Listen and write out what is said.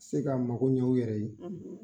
Se ka mago ɲɛ u yɛrɛ ye;